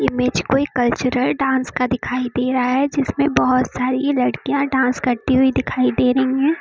Image कोई cultural dance का दिखाई दे रहा है जिसमें बहोत सारी लड़कियां डांस करती हुई दिखाई दे रही है।